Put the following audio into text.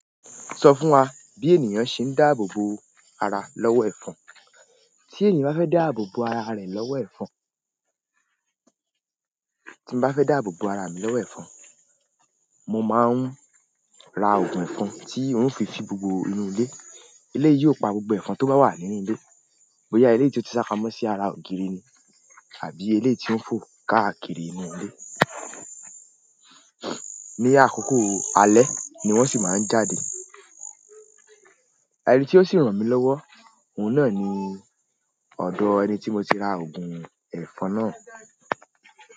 Sọ fún wa bí ènìyàn ṣe ń dáàbò bo ara lọ́wọ́ ẹ̀fọn. Tí ènìyàn bá fẹ́ dáàbò bo ara rẹ̀ lọ́wọ́ ẹ̀fọn, tí mo bá fẹ́ dáàbò bo ara mi lọ́wọ́ ẹfọ̀n, mo máa ń ra ogun ẹfọ̀n ti ń òfì fi gbogbo inú ilé. Ilé yóò pa gbogbo ẹ̀fọn tó bá wà nínú ilé. Bóyá eléyìí tí ó ti sápamọ́ sí ara ògiri ní àbí eléyìí ti ń fò káàkiri inú ilé. Ní àkókò alẹ́ ni wọ́n sì máa ń jáde. Ẹni tí ó sì ràn mí lọ́wọ́, òun náà ni ọ̀dọ̀ ẹni tí mo ti ra ògùn ẹ̀fọn náà.